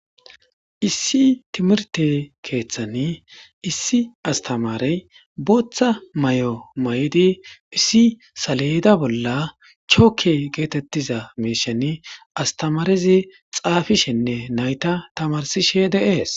issi timirte keeththani issi astamarey booththa may7o may7di issi saleyda bolla chookke geetettiza meeshan astamarezi xaafishenne nayta tamarsishe de7ees